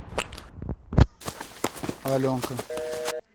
аленка